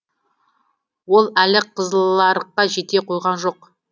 ол әлі қызыларыққа жете қойған жоқ